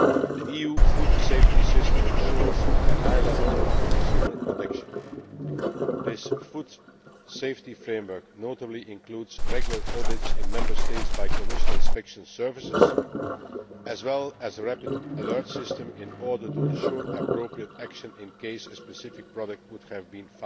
The EU food safety system ensures a high level of consumer protection. This food safety framework notably includes regular audits in Member States by Commission inspection services as well as a rapid alert system in order to ensure appropriate action in the event that a specific product is found to